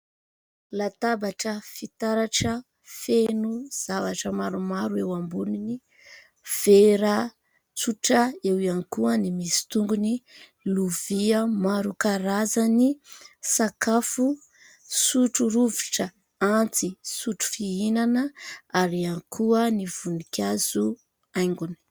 Latabatra fitaratra feno zavatra maro eo amboniny. Vera tsotra, eo ihany koa ny misy tongony, lovia maro karazany, sakafo, sotro rovitra, antsy, sotro fihinana ary ihany koa ny voninkazo haingony.